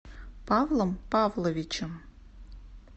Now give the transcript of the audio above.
павлом павловичем